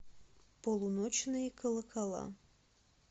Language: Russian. полуночные колокола